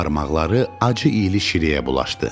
Barmaqları acı ilə şirəyə bulaşdı.